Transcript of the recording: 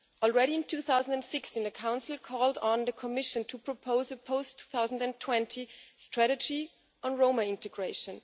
Already, in 2006, the Council called on the Commission to propose a post 2020 strategy on Roma integration.